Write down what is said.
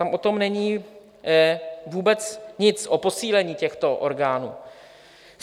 Tam o tom není vůbec nic, o posílení těchto orgánů.